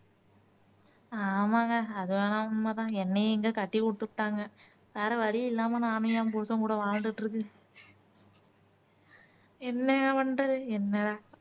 ஆமாங்க அது நேணும்னா உண்மை தான் என்னையும் இங்க கட்டி உட்டுப்புட்டாங்க வேற வழி இல்லாம நானும் என் புருஷன் கூட வாழ்ந்துட்டு இருக்கேன் என்ன பண்றது என்ன